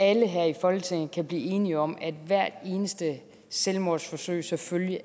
alle her i folketinget kan blive enige om at hvert eneste selvmordsforsøg selvfølgelig